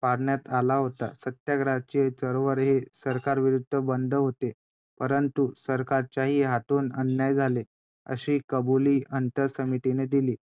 झुलाव्या लागल्या की त्या गोष्टींना सामोरे जाव लागलं .